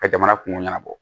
Ka jamana kungo ɲɛnabɔ